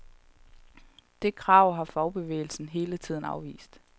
Det krav har fagbevægelsen hele tiden afvist.